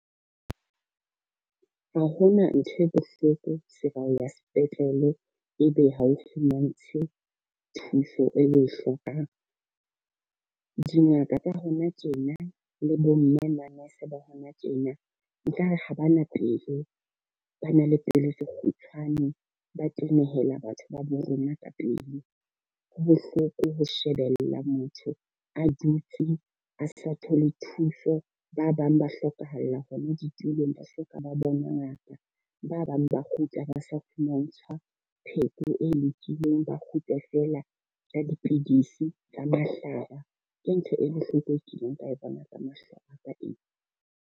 Ha hona ntho e bohloko se ba ya sepetlele, e be ha o fumantshwe thuso eo oe hlokang. Dingaka tsa hona tjena le bo mme nurse ba hona tjena nkare ha ba na pelo, ba na le pelo tse kgutshwane. Ba tenehela batho ba bo rona ka pele. Ho bohloko ho shebella motho a dutse a sa thole thuso. Ba bang ba hlokahalla hona di tulong ba hloka ba bona ngaka. Ba bang ba kgutla ba sa fumantshwa pheko e lokileng ba kgutle fela ya dipidisi tsa mahlala. Ke ntho e bohloko e kileng ka e bona ka mahlo a ka eo.